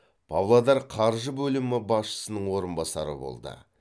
павлодар қаржы бөлімі басшысының орынбасары болды